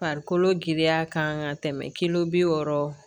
Farikolo giriya kan ka tɛmɛ kilo bi wɔɔrɔ